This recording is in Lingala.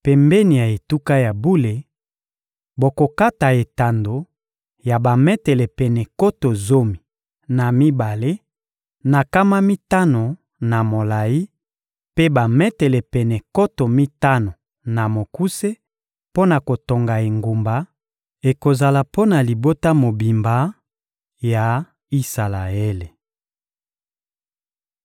Pembeni ya etuka ya bule, bokokata etando ya bametele pene nkoto zomi na mibale na nkama mitano na molayi mpe bametele pene nkoto mitano na mokuse mpo na kotonga engumba; ekozala mpo na libota mobimba Isalaele.